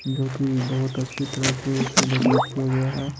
जो कि बहुत अच्छी तरह से इसे डेकोरेट किया गया है।